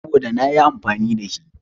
Saboda nayi amfani da shi.